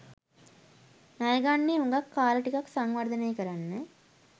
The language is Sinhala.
ණයගන්නේ හුඟක් කාල ටිකක් සංවර්ධනය කරන්න.